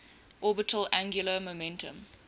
orbital angular momentum